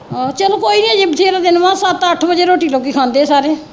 ਆਹੋ ਚਲੋ ਕੋਈ ਨਹੀਂ ਅਜੇ ਬਥੇਰਾ ਦਿਨ ਵਾ ਸੱਤ ਅੱਠ ਵਜੇ ਰੋਟੀ ਲੋਕੀ ਖਾਂਦੇ ਸਾਰੇ